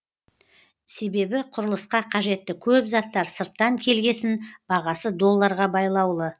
себебі құрылысқа қажетті көп заттар сырттан келгесін бағасы долларға байлаулы